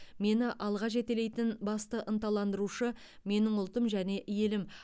мені алға жетелейтін басты ынталандырушы менің ұлтым және елім